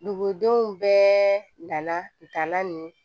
Dugudenw bɛɛ nana dala nin